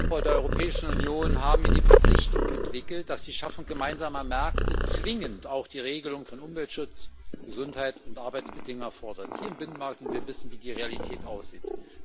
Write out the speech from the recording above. Beim Aufbau der Europäischen Union haben wir die Verpflichtung entwickelt, dass die Schaffung gemeinsamer Märkte zwingend auch die Regelung von Umweltschutz, Gesundheit und Arbeitsbedingungen hier im Binnenmarkt erfordert, und wir wissen, wie die Realität aussieht.